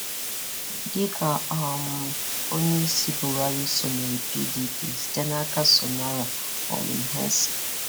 Dịka um Onyeisi Buharị sonyeere PDP site n'aka Sonala Olumhense